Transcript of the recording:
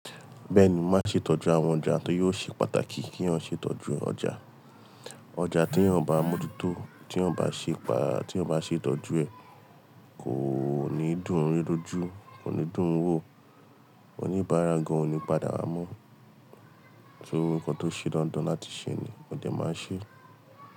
Bẹ́ẹ̀ni, máa ṣe ìtọ́jú àwọn ọjà tori ò ṣe pàtàkì kí èèyàn ṣètọ́jú ọjà. Ọjà tí wọ́n bá mọ́tótó, tí wọ́n bá ṣe pá, tí wọ́n bá ṣètọ́jú ẹ̀ kò ní dùn ri lojú, kò ní dùn wò, oníbàárà gan-an ò ní padà wá mọ́. Torí kọ́ tó ṣe dandan láti ṣe ni, ọjà máa ṣé.